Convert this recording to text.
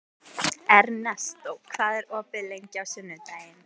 Ernestó, hvað er opið lengi á sunnudaginn?